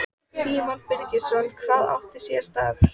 Símon Birgisson: Hvað átti sér stað?